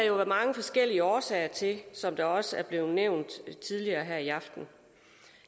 jo være mange forskellige årsager til som det også er blevet nævnt tidligere her i aften